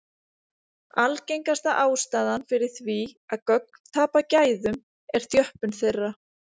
Algengasta ástæðan fyrir því að gögn tapa gæðum er þjöppun þeirra.